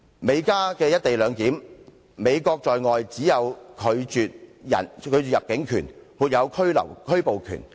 美加的"一地兩檢"安排，美國在外只能行使拒絕入境權而沒有拘捕權。